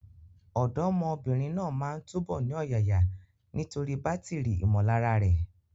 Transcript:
Ọ̀dọ́mọbìnrin náà máa túbọ̀ ní ọ̀yàyà nítorí bátìrì ìmọ̀lára rẹ̀.